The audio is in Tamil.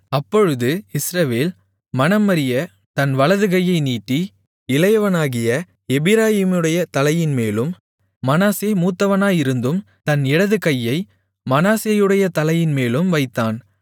அப்பொழுது இஸ்ரவேல் மனமறிய தன் வலது கையை நீட்டி இளையவனாகிய எப்பிராயீமுடைய தலையின்மேலும் மனாசே மூத்தவனாயிருந்தும் தன் இடது கையை மனாசேயுடைய தலையின்மேலும் வைத்தான்